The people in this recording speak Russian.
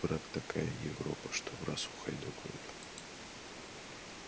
тут брат такая европа что враз ухайдокают